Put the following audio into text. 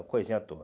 É coisinha à toa.